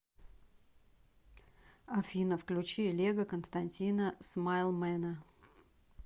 афина включи лего константина смайлмэна